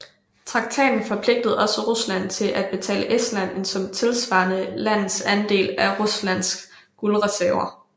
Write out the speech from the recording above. Traktaten forpligtede også Rusland til at betale Estland en sum tilsvarende landets andel af Ruslands guldreserver